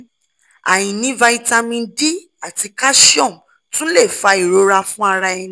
aini vitamin d ati calcium tun le fa irora fun ara eni